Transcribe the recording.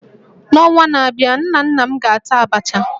N'ọnwa na-abịa, nna nna m ga-ata Abacha